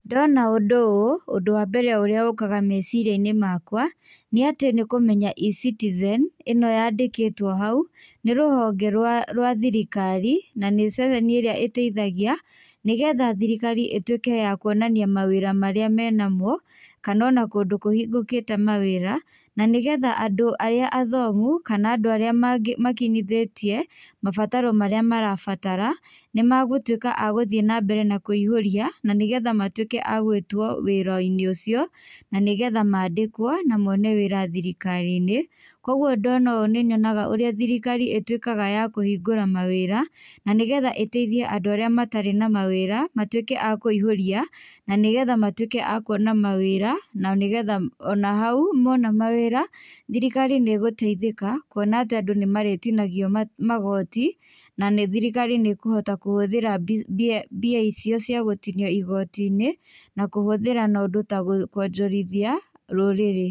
Ndona ũndũ ũũ, ũndũ wa mbere ũrĩa ũkaga meciria-inĩ makwa, nĩ atĩ nĩ kũmenya eCitizen ĩno yandĩkĩtwo hau, nĩ rũhonge rwa, rwa thirikari na nĩ ceceni ĩrĩa ĩteithagia, nĩgetha thirikari ĩtuĩke ya kũonania mawĩra marĩa menamo, kana ona kũndũ kũhingũkĩte mawĩra, na nĩgetha andũ arĩa athomu kana andũ arĩa makinyithĩtie, mabataro marĩa marabatara, magũtuĩka nĩ mathiĩ na mbere na kũihũrĩa nĩgetha matũĩke a gũĩtwo wĩra-inĩ ũcio, na nĩgetha mandĩkwo, na mone wĩra thirikari-inĩ. Koguo ndona ũũ nĩ nyonaga ũrĩa thirikari ĩtuĩkaga ya kũhingũra mawĩra, na nĩgetha ĩteithie arĩa matarĩ na mawĩra, matuĩke a kũihũria, nĩgetha matuĩke a kuona mawĩra na nĩgetha ona hau, mona mawĩra, thirikari nĩ ũgũteithĩka, kwona andũ nĩ marĩtinagio magoti, na thirikari nĩ ĩkũhota kũhũthĩra mbia icio cia gũtinio igoti-inĩ, na kũhũthĩra na njĩra ya kwonjorithia rũrĩrĩ.